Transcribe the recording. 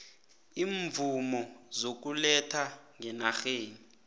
iimvumo zokuletha ngenarheni